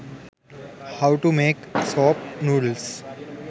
how to make soap noodles